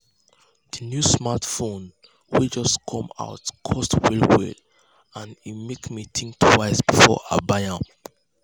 the new smartphone wey just come out cost well well and e make me think twice before i buy am.